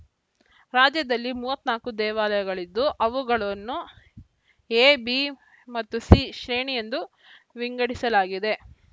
ರಾಜ್ಯದಲ್ಲಿ ಮೂವತ್ತ್ ನಾಲ್ಕು ದೇವಾಲಯಗಳಿದ್ದು ಅವುಗಳನ್ನು ಎ ಬಿ ಮತ್ತು ಸಿ ಶ್ರೇಣಿ ಎಂದು ವಿಂಗಡಿಸಲಾಗಿದೆ